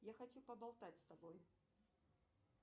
я хочу поболтать с тобой